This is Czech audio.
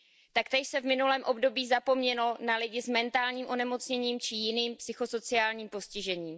Taktéž se v minulém období zapomnělo na lidi s mentálním onemocněním či jiným psychosociálním postižením.